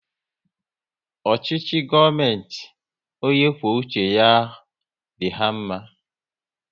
Ọchịchị gọọmenti ọnye kwụọ uche ya ahụ dị ha mma